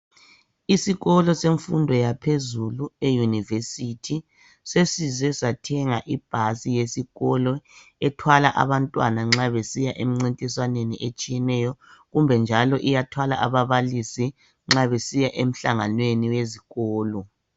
Isikolo semfundo yaphezulu eyunivesithi sesize sathenga ibhasi yesikolo ethwala abantwana nxa besiya emncintiswaneni etshiyeneyo kumbe njalo iyathwala ababalisi nxa besiya emhlanganweni wesikolo.